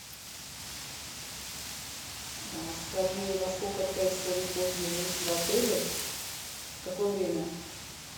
скажи во сколько происходит поздний выезд в отеле в какое время